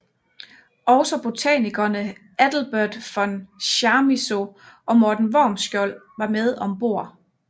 Også botanikerne Adelbert von Chamisso og Morten Wormskjold var med om bord